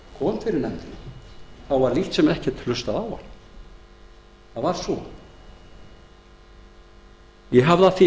nefndina var lítt sem ekkert hlustað á hann það var svo ég hafði af því